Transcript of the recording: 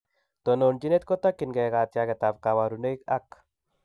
Tononjinet kotakyingei katiaget ab kabarunaik ak